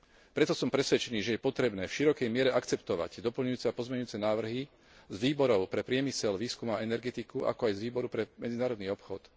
Preto som presvedčený, že je potrebné v širokej miere akceptovať doplňujúce a pozmeňujúce návrhy z Výboru pre priemysel, výskum a energetiku, ako aj z Výboru pre medzinárodný obchod.